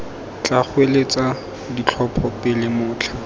tla goeletsa ditlhopho pele motlha